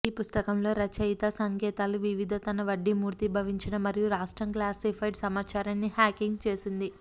ఈ పుస్తకం లో రచయిత సంకేతాలు వివిధ తన వడ్డీ మూర్తీభవించిన మరియు రాష్ట్రం క్లాసిఫైడ్ సమాచారాన్ని హ్యాకింగ్ చేసింది